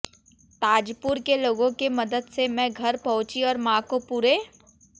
ताजपुर के लोगों के मदद से मैं घर पहुंची और मां को पूरे